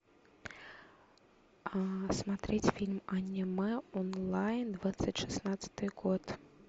смотреть фильм аниме онлайн двадцать шестнадцатый год